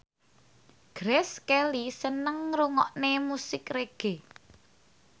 Grace Kelly seneng ngrungokne musik reggae